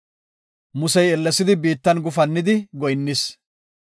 Musey ellesidi biittan gufannidi goyinnis.